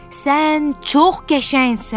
Sən çox qəşəngsən.